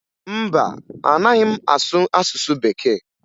Mba, anaghị m asụ asụsụ Bekee